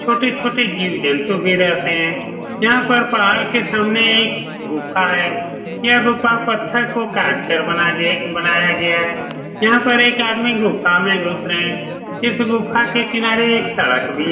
छोटे-छोटे जीव जंतु भी रहते है यहाँ पर पहाड़ के सामने एक गुफा है यह गुफा पत्त्थर को काट कर बना गये बनाया गया है यहाँ पे एक आदमी गुफा में घुस रहे है इस गुफा के किनारे एक सड़क भी --